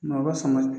Mɔgɔ fanga